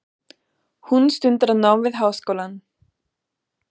Hún stundar nám við háskólann.